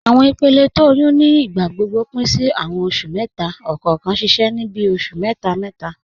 Awọn ìpèlẹ̀ tó ọyún ní ìgbàgbọ́gbọ̀ pin sí awọn oṣù mẹ́ta, ọkọọ̀kan ṣiṣẹ ni bíi oṣù mẹ́ta.